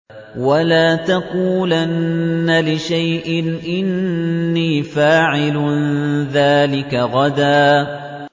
وَلَا تَقُولَنَّ لِشَيْءٍ إِنِّي فَاعِلٌ ذَٰلِكَ غَدًا